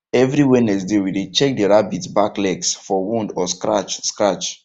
every wednesday we dey check the rabbits back legs for wound or scratch scratch